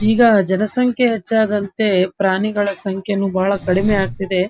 ಈಗ ಜನ ಸಂಖ್ಯೆ ಹೆಚ್ಚಾದಂತೆ ಪ್ರಾಣಿಗಳ ಸಂಖ್ಯೆನೂ ತುಂಬ ಕಮ್ಮಿ ಆಗ್ತಿದೆ.